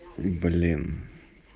блин